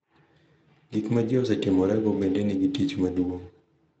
Gik ma ji osetimorego bende nigi tich maduong’